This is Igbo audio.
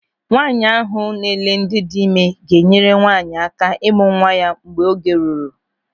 Nwaanyị ahụ na-ele ndị dị ịme ga-enyere nwaanyị aka ịmụ nwa ya mgbe oge ruru.